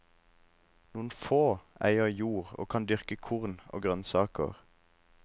Noen få eier jord og kan dyrke korn og grønnsaker.